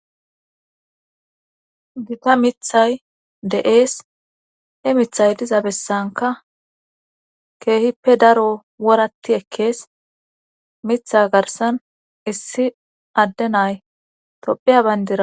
Gita mithay de7'ees he mithay diza bessanka keehippe daro woratti ekkees, mitha garsan issi adde nay tophiya bayndira